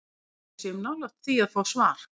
Ég held að við séum nálægt því að fá svar.